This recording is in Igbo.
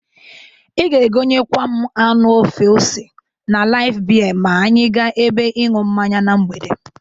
I ga-egonyekwa m anụ ofe ose na Laif bie ma anya ga ebe ịṅụ mmanya na mgbede.